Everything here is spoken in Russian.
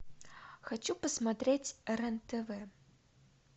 хочу посмотреть рен тв